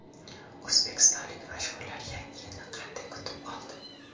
O‘zbekistonlik mashhurlar Yangi yilni qanday kutib oldi?